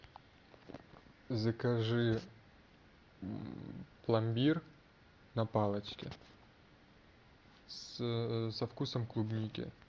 закажи пломбир на палочке со вкусом клубники